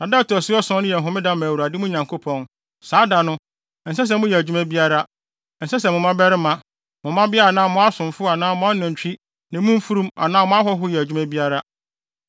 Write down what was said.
na da a ɛto so ason no yɛ Homeda ma Awurade, mo Nyankopɔn. Saa da no, ɛnsɛ sɛ moyɛ adwuma biara; ɛnsɛ sɛ mo mmabarima, mo mmabea anaa mo asomfo anaa mo anantwi ne mo mfurum anaa mo ahɔho yɛ adwuma biara.